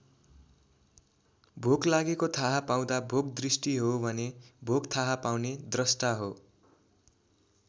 भोक लागेको थाहा पाउँदा भोक दृष्टि हो भने भोक थाहा पाउने द्रष्टा हो।